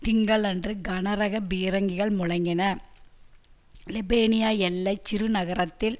திங்களன்று கனரக பீரங்கிகள் முழங்கின லெபேனிய எல்லை சிறுநகரத்தில்